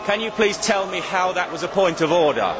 Can you please tell me how that was a point of order?